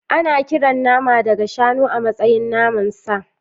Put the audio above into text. Ana kiran nama daga shanu a matsayin naman sa.